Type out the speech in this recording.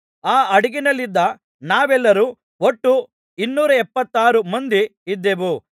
ಆ ಹಡಗಿನಲ್ಲಿದ್ದ ನಾವೆಲ್ಲರೂ ಒಟ್ಟು ಇನ್ನೂರ ಎಪ್ಪತ್ತಾರು ಮಂದಿ ಇದ್ದೇವು